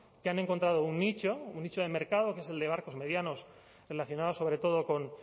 que han encontrado un nicho un nicho de mercado que es el de barcos medianos relacionados sobre todo con